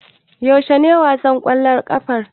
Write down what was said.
Yaushe ne wasan ƙwallon ƙafar?